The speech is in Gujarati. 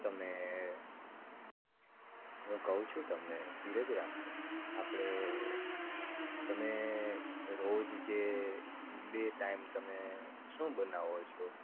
તમે હું કવ છુ તમને ધીરજ રાખો આપડે તમે રોજ જે day time તમે શું બનાવો છો?